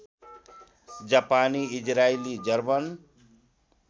जापानी इजरायली जर्मन